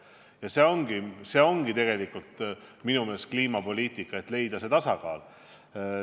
Ja minu meelest ongi kliimapoliitika tegelikult see, et leida tasakaal.